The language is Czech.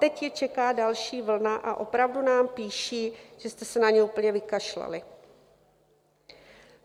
Teď je čeká další vlna a opravdu nám píší, že jste se na ně úplně vykašlali.